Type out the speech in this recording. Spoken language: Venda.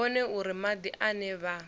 vhone uri madi ane vha